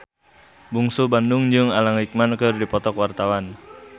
Bungsu Bandung jeung Alan Rickman keur dipoto ku wartawan